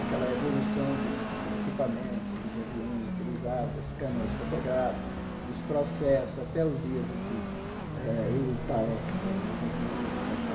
Aquela evolução dos equipamentos, dos aviões utilizados, das câmaras fotográficas, dos processos, até os dias em que eh eu estava eh fazendo a apresentação.